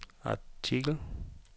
artikel